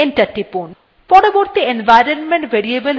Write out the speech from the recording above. পরবর্তী environment variable হল path